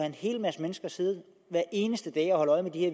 en hel masse mennesker siddende hver eneste dag og holde øje med de her